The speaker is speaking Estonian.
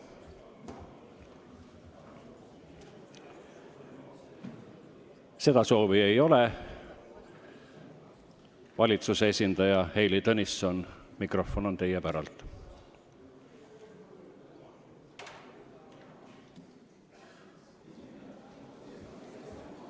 Valitsuse esindaja Heili Tõnisson, mikrofon on teie päralt.